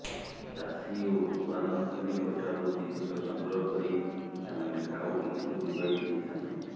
ଚାଷୀ ଓ ଉତ୍ପାଦନକାରୀଙ୍କଠାରୁ ଜିନିଷ ସଂଗ୍ରହ କରି ଏମାନେ ଖାଉଟିଙ୍କୁ ଯୋଗାଇ ଦେଇଥାନ୍ତି